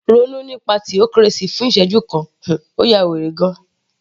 Ronú nípa theocracy fún ìsẹ́jú kan, ó ya wèrè gan -an